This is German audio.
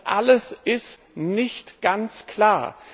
Das alles ist nicht ganz klar.